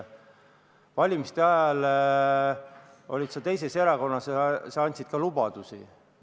Valimiste ajal olid sa teises erakonnas ja sa andsid ka lubadusi.